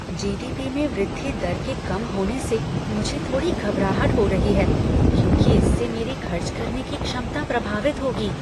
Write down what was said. जी. D. P. में वृद्धि दर के कम होने से मुझे थोड़ी घबराहट हो रही है क्योंकि इससे मेरी खर्च करने की क्षमता प्रभावित होगी।